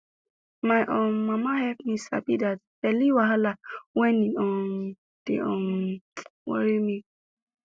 my um mama help me sabi that belly wahala when e um dey um worry me